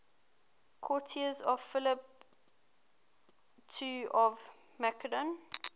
courtiers of philip ii of macedon